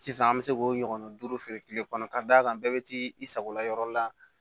Sisan an bɛ se k'o ɲɔgɔn duuru feere kile kɔnɔ k'a d'a kan bɛɛ be t'i sagola yɔrɔ la